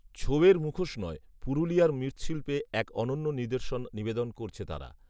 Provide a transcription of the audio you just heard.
ছৌয়ের মুখোশ নয়, পুরুলিয়ার মৃ্ৎশিল্পের এক অনন্য নির্দশন নিবেদন করছে তারা